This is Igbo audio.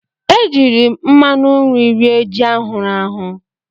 E jiiri m mmanụ nri rie ji ahụrụ ahụ.